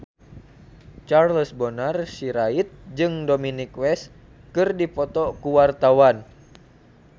Charles Bonar Sirait jeung Dominic West keur dipoto ku wartawan